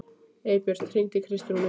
Eybjört, hringdu í Kristrúnu.